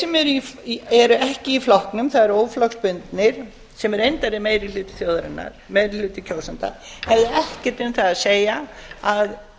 sem eru ekki í flokknum það er eru óflokksbundnir sem reyndar er meiri hluti þjóðarinnar meiri hluti kjósenda hefðu ekkert um það að